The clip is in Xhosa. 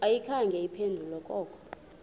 ayikhange iphendule koko